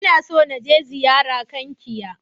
Ina so na je ziyara Kankia.